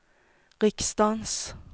riksdagens